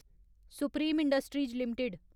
supreme industries limited